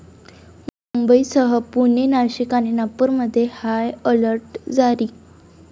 मुंबईसह पुणे, नाशिक आणि नागपूरमध्ये हाय अलर्ट जारी